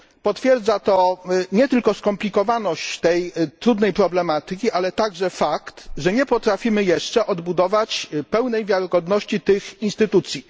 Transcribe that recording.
Potwierdza to nie tylko skomplikowanie tej trudnej problematyki, ale także fakt, że nie potrafimy jeszcze odbudować pełnej wiarygodności tych instytucji.